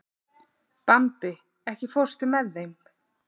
Bambi, ekki fórstu með þeim?